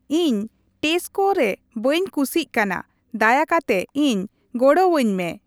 ᱤᱧ ᱴᱮᱥᱠᱳ ᱨᱮ ᱵᱟᱹᱧ ᱠᱩᱥᱤᱜ ᱠᱟᱱᱟ ᱫᱟᱭᱟ ᱠᱟᱛᱮ ᱤᱧ ᱜᱚᱲᱚᱣᱟᱹᱧ ᱢᱮ᱾